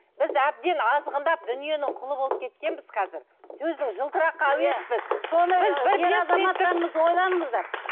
біз әбден азғындап дүниенің құлы болып кеткенбіз қазір сөздің жылтыраққа әуеспіз біз ойланыңыздар